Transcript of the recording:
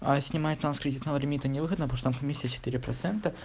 а снимать на с кредитного лимита невыгодно потом что комиссия четыре процента